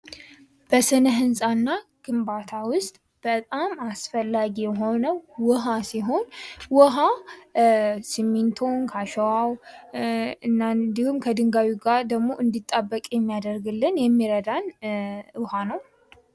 በስነ ህንጻ እና ግንባታ ውስጥ በጣም አስፈላጊ የሆነው ዉሃ ሲሆን ውሃ ስሚንቶውን ከአሸዋው እና እንዲሁም ከድንጋዩ ጋር ደግሞ እንዲጣበቅልን የሚያደርግልን የሚረዳን ውሃ ነው።